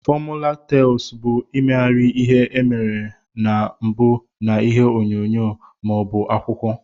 Fọmula tels bu imeghari ihe emere na mbu na ihe onyonyo ma obu akwụkwọ.